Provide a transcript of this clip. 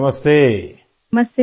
Shrisha ji نمستے!